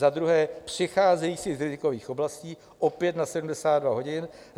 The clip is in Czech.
Za druhé přicházejících z rizikových oblastí, opět na 72 hodin.